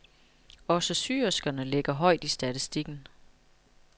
Også syerskerne ligger højt i statistikken.